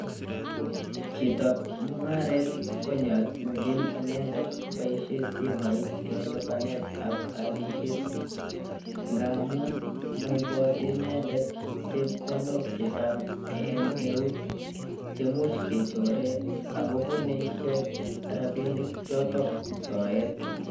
Chitap mungaret konyoljin inendet koboishen simoit en libanet ak alishet amun moibote inendet chepkondok chechang en eut cheimuch kechoren ako bune rabinik chotok soet.